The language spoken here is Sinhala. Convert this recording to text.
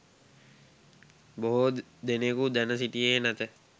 බොහෝ දෙනෙකු දැන සිටියේ නැත